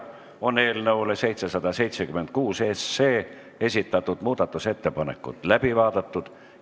Eelnõu 776 kohta esitatud muudatusettepanekud on läbi vaadatud.